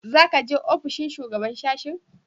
Za ka je ofishin shugaban sashen?